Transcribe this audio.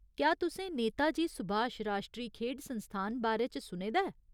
क्या तुसें नेताजी सुभाश राश्ट्री खेढ संस्थान बारै च सुने दा ऐ ?